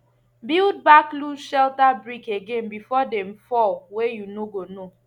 build back loose shelter brick again before dem fall wey you no go know